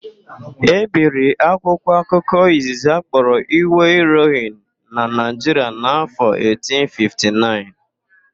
E biri akwụkwọ akụkọ izizi akpọrọ Iwe Irohin na Naịjiria n'áfọ̀ 1859.